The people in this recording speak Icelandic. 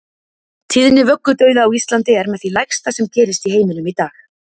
Tíðni vöggudauða á Íslandi er með því lægsta sem gerist í heiminum í dag.